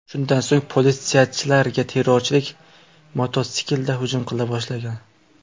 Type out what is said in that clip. Shundan so‘ng politsiyachilarga terrorchilar mototsiklda hujum qila boshlagan.